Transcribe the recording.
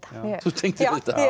þú tengdir